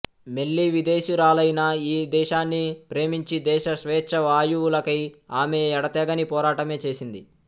మెల్లీ విదేశీయురాలైనా ఈ దేశాన్ని ప్రేమించి దేశ స్వేచ్ఛావాయువులకై ఆమె ఎడతెగని పోరాటమే చేసింది